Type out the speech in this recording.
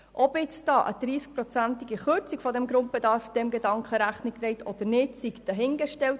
Ob eine 30-prozentige Kürzung des Grundbedarfs diesem Gedanken Rechnung trägt oder nicht, sei dahingestellt.